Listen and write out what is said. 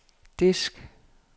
disk